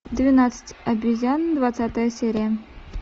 двенадцать обезьян двадцатая серия